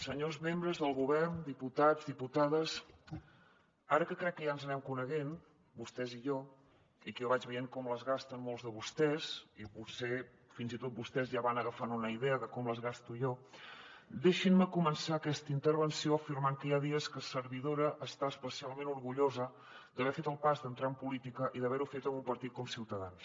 senyors membres del govern diputats i diputades ara que crec que ja ens anem coneixent vostès i jo i que jo vaig veient com les gasten molts de vostès i potser fins i tot vostès ja van agafant una idea de com les gasto jo deixin me començar aquesta intervenció afirmant que hi ha dies que servidora està especialment orgullosa d’haver fet el pas d’entrar en política i d’haver ho fet en un partit com ciutadans